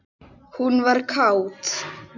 Hún var kát.